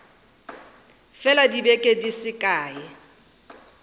fela dibeke di se kae